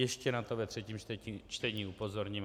Ještě na to ve třetím čtení upozorním.